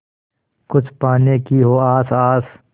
कुछ पाने की हो आस आस